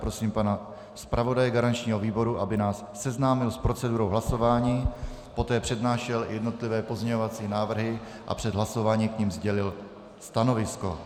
Prosím pana zpravodaje garančního výboru, aby nás seznámil s procedurou hlasování, poté přednášel jednotlivé pozměňovací návrhy a před hlasováním k nim sdělil stanovisko.